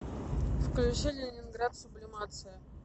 включи ленинград сублимация